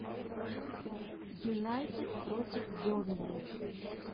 юнайтед против бернли